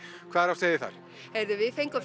hvað er á seyði það heyrðu við fengum